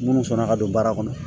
Minnu sɔnna ka don baara kɔnɔ